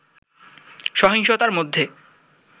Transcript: সহিংসতার মধ্যে